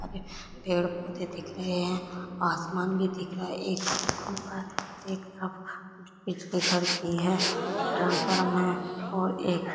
अभी पेड़ पौधे दिख रहे हैं आसमान भी दिख रहा है एक बिजली घर भी है ट्रांसफॉर्म है और एक--